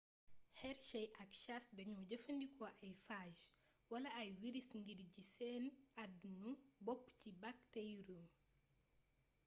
hershey ak chasse dañoo jëfandikoo ay phage wala ay wiris ngir ji seen adnu bopp ci bakteriyum